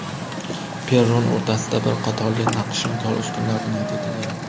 Perron o‘rtasida bir qatorli naqshinkor ustunlar bunyod etilgan.